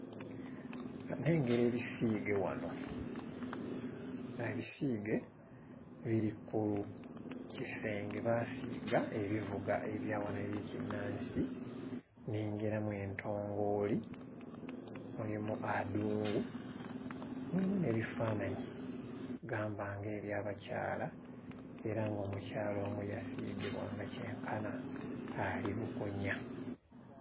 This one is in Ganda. Nnengera ebiseege wano, abiseege biri ku kisenge baasiiga ebivuga ebya wano eby'ekinnansi nnengeramu entongooli mulimu adungu mulimu n'ebifaananyi gamba nga eby'abakyala era ng'omukyala omu yasiigibwa nga kyenkana ali bukunya.